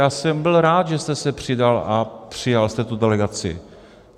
Já jsem byl rád, že jste se přidal a přijal jste tu delegaci.